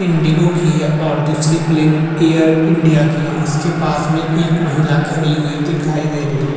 Indigo की है और दूसरी प्लैन एयर इंडिया की है इसके पास में एक महिला खड़ी हुई दिखाई दे रही है।